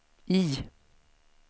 I